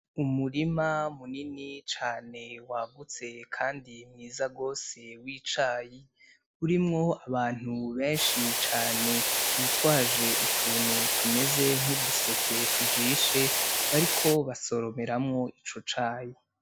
Umurima munini cane wagutse kandi mwiza gose w'icayi, urimwo abantu benshi cane bitwaje utuntu tumeze nk'uduseke tujishe, bariko basoromeramwo ico cayi.